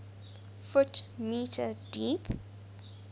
ft m deep